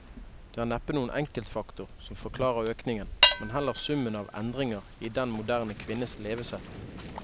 Det er neppe noen enkeltfaktor som forklarer økningen, men heller summen av endringer i den moderne kvinnes levesett.